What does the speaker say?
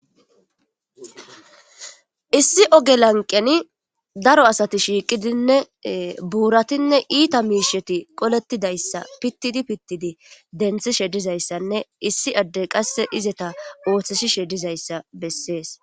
Issi oge lanqeni daro asati shiiqidinne buuratinne iita miisheti qolettidayssa pittidi pittidi denthi shedizayssanne issi addey qasse izeta ooththisi shedizayssa bessees.